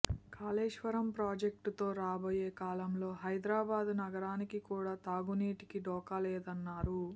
కాళేశ్వరం ప్రాజెక్టుతో రాబోయే కాలంలో హైదరాబాద్ నగరానికి కూడా తాగునీటికి డోకా లేదన్నారు